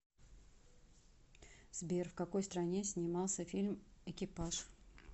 сбер в какои стране снимался фильм экипаж